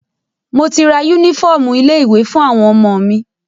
Mo ti ra yúnífọ̀ọmù ilé ìwé fún àwọn ọmọ mi.